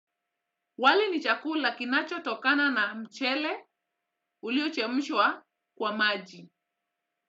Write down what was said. Wali ni chakula kinachotokana na mchele uliochemshwa kwa maji.